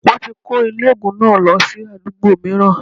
Wọ́n ti kó ilé ògùn náà lọ sí àdúgbò mìíràn